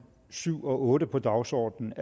syv og otte på dagsordenen